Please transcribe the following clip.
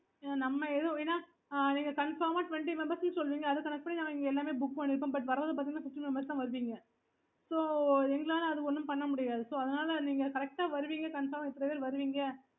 okay